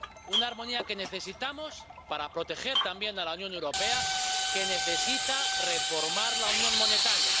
una armonía que necesitamos para proteger también a la Unión Europea, que necesita reformar la unión monetaria.